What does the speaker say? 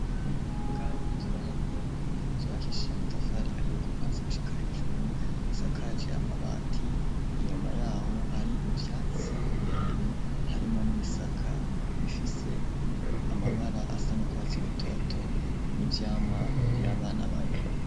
Imuyinga inzu z'abanyagihugu zubakishije amatafari ahiye kuva hasi gushika hejuru isakaje amabati inyuma yaho hari ivyatsi birebire harimwo n'ibisaka bifise amabara asa n'urwatsi rutoto n'ivyamwa vy'abana barya.